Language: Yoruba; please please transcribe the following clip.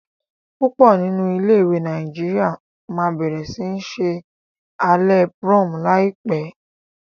púpò nínú ilé ìwé Nàìjíríà má bẹrẹ sí ṣe Alẹ́ prom láìpé.